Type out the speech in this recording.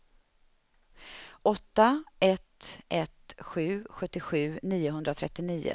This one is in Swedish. åtta ett ett sju sjuttiosju niohundratrettionio